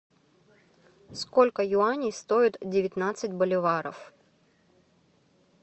сколько юаней стоит девятнадцать боливаров